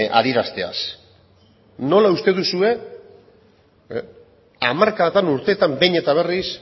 adierazteaz nola uste duzue hamarkadatan urteetan behin eta berriz